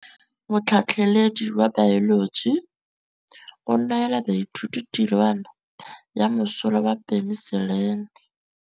Motlhatlhaledi wa baeloji o neela baithuti tirwana ya mosola wa peniselene.